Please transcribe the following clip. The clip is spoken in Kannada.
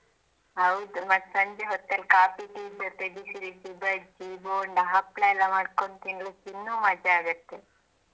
ಹೌದು ಮತ್ತೆ ಸಂಜೆ ಹೊತ್ತಲಿ ಕಾಫಿ ಟೀ ಜೊತೆ ಬಿಸಿ ಬಿಸಿ ಬಜ್ಜಿ ಬೋಂಡಾ ಹಪ್ಪಳ ಎಲ್ಲ ಮಾಡ್ಕೊಂಡ್ ತಿನ್ಲಿಕ್ಕೆ ಇನ್ನೂ ಮಜಾ ಆಗುತ್ತೆ.